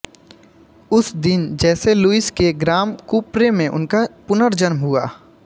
उस दिन जैसे लुइस के ग्राम कुप्रे में उनका पुर्नजन्म हुआ